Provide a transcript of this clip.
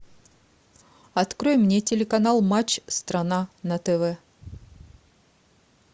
открой мне телеканал матч страна на тв